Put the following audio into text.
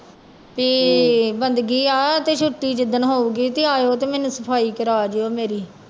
ਵੀ ਬੰਦਗੀ ਆ ਤੇ ਛੁੱਟੀ ਜਿੱਦਣ ਹੋਊਗੀ ਤੇ ਆਇਓ ਤੇ ਮੈਨੂੰ ਸਫ਼ਾਈ ਕਰਵਾ ਜਾਇਓ ਮੇਰੀ।